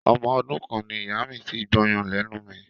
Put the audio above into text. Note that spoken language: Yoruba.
Ọmọ ọdún kan ni ìyá mi ti gbọyàn lẹ́nu mi.